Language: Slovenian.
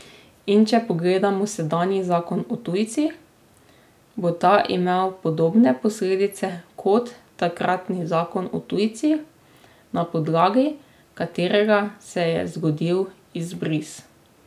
In če pogledamo sedanji zakon o tujcih, bo ta imel podobne posledice kot takratni zakon o tujcih, na podlagi katerega se je zgodil izbris.